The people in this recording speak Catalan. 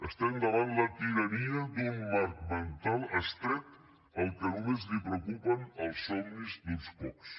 estem davant la tirania d’un marc mental estret al qual només el preocupen els somnis d’uns pocs